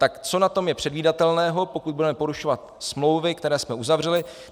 Tak co na tom je předvídatelného, pokud budeme porušovat smlouvy, které jsme uzavřeli?